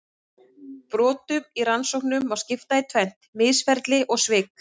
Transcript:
Brotum í rannsóknum má skipta í tvennt: misferli og svik.